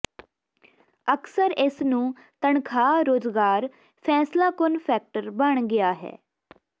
ਅਕਸਰ ਇਸ ਨੂੰ ਤਨਖਾਹ ਰੁਜ਼ਗਾਰ ਫੈਸਲਾਕੁੰਨ ਫੈਕਟਰ ਬਣ ਗਿਆ ਹੈ